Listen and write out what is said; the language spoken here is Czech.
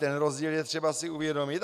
Ten rozdíl je třeba si uvědomit.